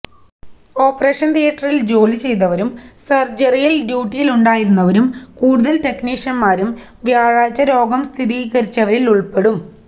operation തിയേറ്ററിൽ ജോലിചെയ്തവരും സർജറിയിൽ ഡ്യൂട്ടിയിലുണ്ടായിരുന്നവരും കൂടുതൽ ടെക്നീഷ്യൻമാരും വ്യാഴാഴ്ച രോഗം സ്ഥിരീകരിച്ചവരിൽ ഉൾപ്പെടും